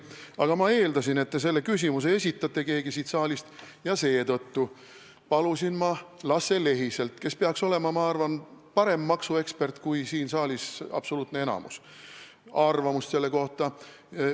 Aga ma eeldasin, et keegi siit saalist selle küsimuse esitab, ja seetõttu palusin ma Lasse Lehiselt, kes peaks olema, ma arvan, parem maksuekspert kui enamik siin saalis, arvamust selle kohta.